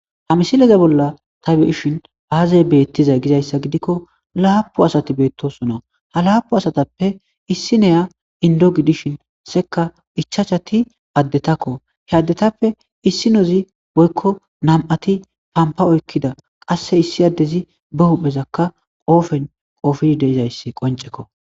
ha misileza bolla ta beishin aaze beettizay gizayssa gidikko laapu asati beettosona ha laapu asatappe issi neya indo gidishin seka ichachati addetakko he addetappe issi nozi woykko nam7ati pampa oykkida qasse issi addezi be huphezakka qoofen qoofi deizayssi qoncekko